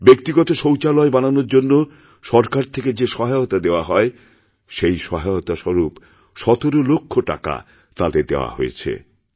ব্যক্তিগত শৌচালয় বানানোর জন্যসরকার থেকে যে সহায়তা দেওয়া হয় সেই সহায়তাস্বরূপ ১৭ লক্ষ টাকা তাঁদের দেওয়া হয়েছে